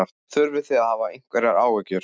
Þurfið þið að hafa einhverjar áhyggjur?